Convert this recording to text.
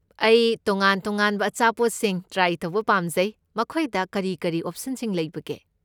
ꯑꯩ ꯇꯣꯉꯥꯟ ꯇꯣꯉꯥꯟꯕ ꯑꯆꯥꯄꯣꯠꯁꯤꯡ ꯇ꯭ꯔꯥꯏ ꯇꯧꯕ ꯄꯥꯝꯖꯩ, ꯃꯈꯣꯏꯗ ꯀꯔꯤ ꯀꯔꯤ ꯑꯣꯞꯁꯟꯁꯤꯡ ꯂꯩꯕꯒꯦ?